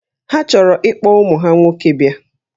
Ha chọrọ ikpọ ụmụ ha nwoke a bịa